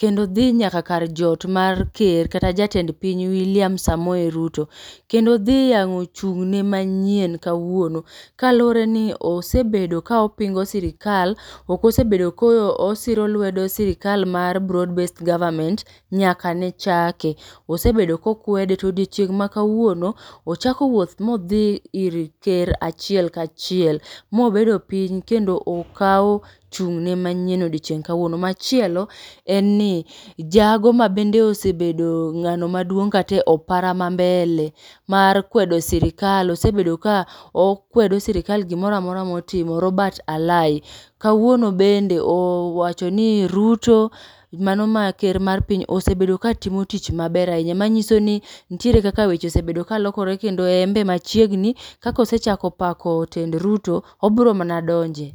kendo dhi nyaka kar jot mar ker kata jatend piny Wiliam Samoei Ruto kendo odhi yango chung'ne manyien kawuono. Kalureni osebedo kaopingo sirikal ok osebedo kosiro lwedo sirkal mar broad based government nyaka nechake. Osebedo kokwede to odiechieng' makawuono ochako wuoth modhi ir ker achiel kachiel mobedo piny kendo okawo chung'ne manyien odiechieng kawuono. Machielo enni jago ma bende osebedo ng'ano maduong' kata e opara mambele mar kwedo sirikal osebedo ka okwedo sirikal egimoro amora motimo Robert Alai kawuono bende owachoni Ruto mano ma ker mar piny osebedo katimo tich maber ahinya manyisoni nitiere kaka weche osebedo kalokore kendo embe machiegni kaka osechako pako tend Ruto obiro mana donje.